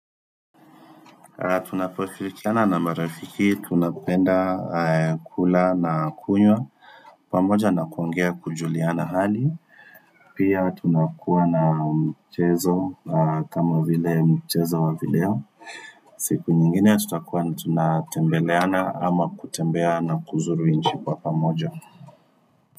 Tunaposhirikiana na marafiki tunapenda kula na kunywa pamoja na kuongea, kujuliana hali Pia tunakuwa na mchezo kama vile mchezo wa video siku nyingine tutakuwa tunatembeleana ama kutembea na kuzuru nchi kwa pamoja.